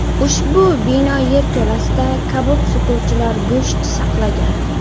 Ushbu bino yerto‘lasida kabob sotuvchilar go‘sht saqlagan.